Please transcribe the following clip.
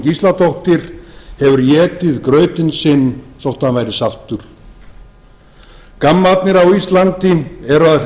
gísladóttir hefur étið grautinn sinn þótt hann væri saltur gammarnir á íslandi eru að